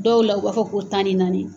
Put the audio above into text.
Dɔw la u b'a fɔ ko tan ni naani